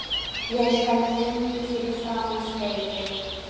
Ég stend lengi fyrir framan spegilinn.